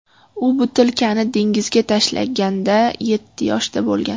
U butilkani dengizga tashlaganda yetti yoshda bo‘lgan.